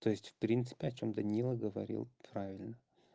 то есть в принципе о чём данила говорил правильно